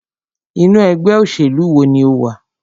Inú ẹgbẹ́ òṣèlú wo ní o wà?